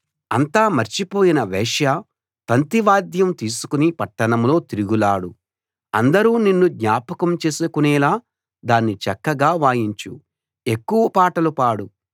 అంతా మర్చిపోయిన వేశ్యా తంతి వాద్యం తీసుకుని పట్టణంలో తిరుగులాడు అందరూ నిన్ను జ్ఞాపకం చేసుకునేలా దాన్ని చక్కగా వాయించు ఎక్కువ పాటలు పాడు